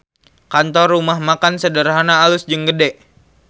Kantor Rumah Makan Sederhana alus jeung gede